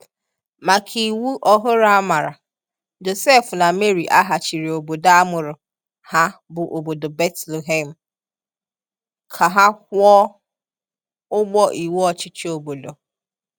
Màkà iwu ọhụrụ àmàrà, Josef na Mary àghàchìrì obodo a mụrụ ha bú obodo Betlehem, ka ha kwụọ̀ ụ̀gbọ̀ iwu ọchịchị obodo.